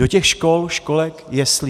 Do těch škol, školek, jeslí.